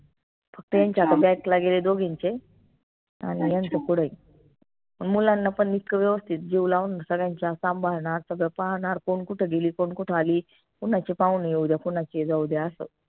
फक्त यांच्या ला गेले दोघींचे आनि यांच्या पुढंइ अन मुलांना पन इतकं व्यवस्थित जीव लावून सगळ्यांच्या सांभाळणार सगळं पाहणार कोण कोट गेली कोण कुठं अली कोणाचे पाहुणे येऊ द्या कोनाचे जाऊ द्या असं